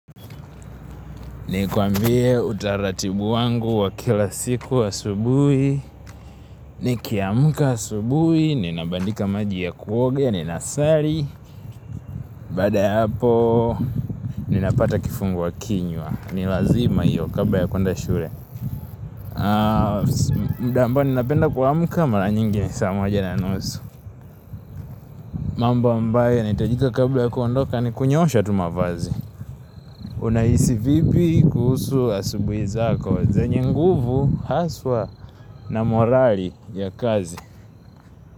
Nikuambie utaratibu wangu wa kila siku wa asubuhi, nikiamka asubuhi, ninabandika maji ya kuoga, ninasali, baada ya hapo ninapata kifungua kinywa, nilazima hiyo kabla ya kuenda shule. Muda ambao ninapenda kuamuka mara nyingi saa mwaja na nusu. Mambo ambayo yanitajika kabla ya kuondoka, nikunyoosha tumavazi. Unaisi vipi kuhusu asubuhi zako zenye nguvu haswa na morali ya kazi.